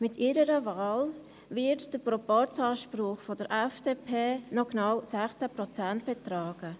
Mit ihrer Wahl wird der Proporzanspruch der FDP noch genau 16 Prozent betragen.